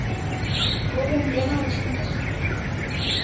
lwo vhumbwa na u shumiswa